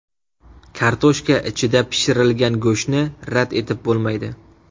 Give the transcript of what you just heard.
Kartoshka ichida pishirilgan go‘shtni rad etib bo‘lmaydi.